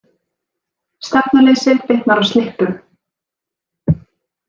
Stefnuleysi bitnar á slippum